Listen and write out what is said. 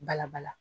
Bala bala